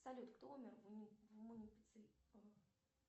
салют кто умер в